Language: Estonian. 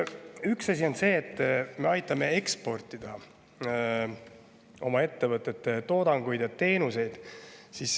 Üks asi on see, et me aitame eksportida oma ettevõtete toodangut ja teenuseid.